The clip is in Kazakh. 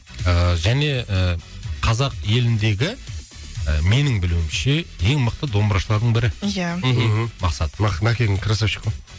ыыы және ыыы қазақ еліндегі ы менің білуімше ең мықты домбырашылардың бірі иә мхм мақсат мәкең красавчик қой